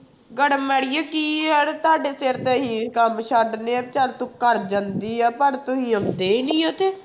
ਗਰਮ ਆੜੀਏ ਕੀ ਯਾਰ ਤੁਹਾਡੇ ਸਿਰ ਤੇ ਅਸੀਂ ਕੰਮ ਛੱਡ ਲਿਆ ਵੀ ਚੱਲ ਤੂੰ ਕਰ ਜਾਂਦੀ ਹੈ ਪਰ ਤੁਸੀਂ ਆਉਂਦੇ ਹੀ ਨੀ ਤੇ।